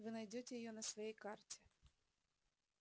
вы найдёте её на своей карте